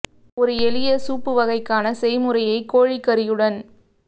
ஒரு எளிய சூப்பு வகை க்கான செய்முறையை கோழிக்கறியுடன்